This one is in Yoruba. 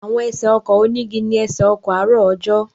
Àwọn ẹsẹ̀ ọkọ̀ onígi ni ẹsẹ̀ ọkọ̀ àárọ̀ ọjọ́.